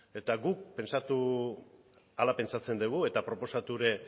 eta guk hala pentsatzen dugu eta proposatu ere